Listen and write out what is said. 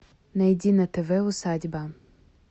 найди на тв усадьба